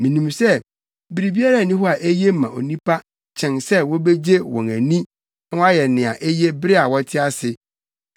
Minim sɛ biribiara nni hɔ a eye ma nnipa kyɛn sɛ wobegye wɔn ani na wɔayɛ nea eye bere a wɔte ase.